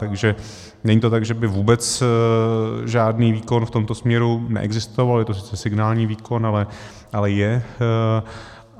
Takže není to tak, že by vůbec žádný výkon v tomto směru neexistoval, je to sice signální výkon, ale je.